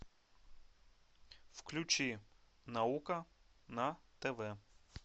включи наука на тв